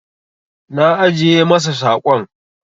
Na ajiye masa saƙon.